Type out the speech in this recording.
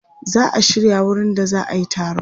Za a shirya wurin da za a yi taron.